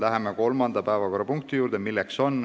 Läheme kolmanda päevakorrapunkti juurde.